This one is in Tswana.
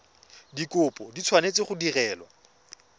dikopo di tshwanetse go direlwa